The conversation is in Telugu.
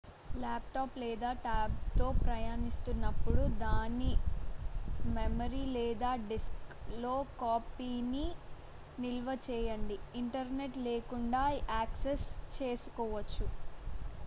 ల్యాప్టాప్ లేదా టాబ్లెట్తో ప్రయాణిస్తునప్పుడు దాని మెమరీ లేదా డిస్క్లో కాపీని నిల్వ చేయండి ఇంటర్నెట్ లేకుండా యాక్సెస్ చేసుకోవచు